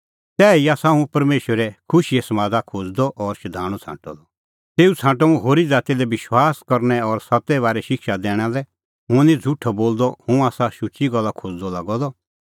तैही आसा हुंह परमेशरै खुशीए समादा खोज़दअ और शधाणूं छ़ांटअ द तेऊ छ़ांटअ हुंह होरी ज़ाती लै विश्वास और सत्ते बारै शिक्षा दैणा लै हुंह निं झ़ुठअ बोलदअ हुंह आसा शुची गल्ला खोज़दअ लागअ द